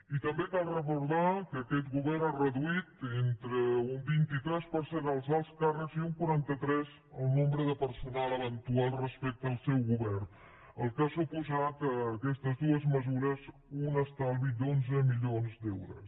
i també cal recordar que aquest govern ha reduït entre un vint tres per cent els alts càrrecs i un quaranta tres el nombre de personal eventual respecte al seu govern cosa que han suposat aquestes dues mesures un estalvi d’onze milions d’euros